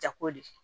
Jako de